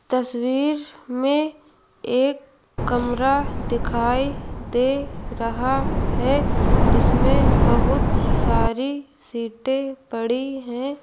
तस्वीर में एक कमरा दिखाई दे रहा है जिसमें बहुत सारी सीटें पड़ी है।